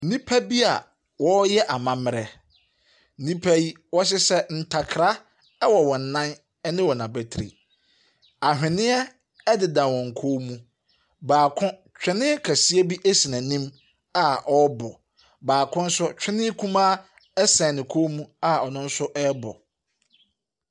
Nnipa bi a wɔreyɛ amammerɛ. Nnipa yi wɔhyehyɛ ntakra wɔ wɔɔn nan ne wɔn abatri. Anhweneɛ deda kɔ mu. Baako twene kɔseɛ bi si n'anim a ɔrebɔ. Ɔbaako nso, twene kumaa sɛn ne kɔn mu a ɔrebɔ.